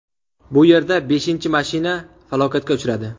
Bu yerda beshinchi mashina falokatga uchradi!